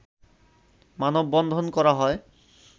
মানববন্ধন করা হয়